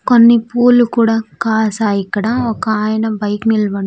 కొన్ని పూలు కూడా కాసాయి ఇక్కడ ఒకాయన బైక్ నిలబడ్--